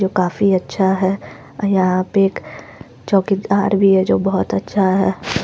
जो काफी अच्छा है यहा पर एक चौकीदार भी है जो बहुत अच्छा है।